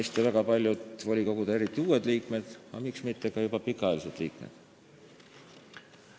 Sama käib väga paljude volikogude liikmete, eriti uute, aga miks mitte ka juba pikaajaliste liikmete täiendava koolitamise ja teavitamise kohta.